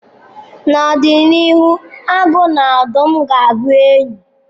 N'ọdịnihu, agụ na odụm ga-abụ enyi.